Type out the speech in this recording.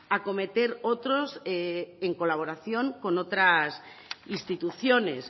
acometer otros en colaboración con otras instituciones